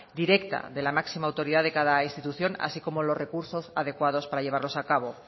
directa de la máxima autoridad de cada institución así como los recursos adecuados para llevarlos a cabo